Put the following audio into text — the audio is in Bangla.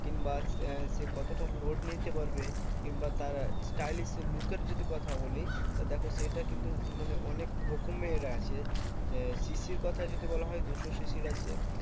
কিংবা আহ সে কতটা load নিতে পারবে কিংবা তার stylish look এর যদি কথা বলি, তা দেখো সেটা কিন্তু মানে অনেক রকমের আছে। যে CC র কথা যদি বলা হয়, দুশো CC র আছে।